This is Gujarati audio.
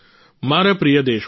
મારા પ્રિય દેશવાસીઓ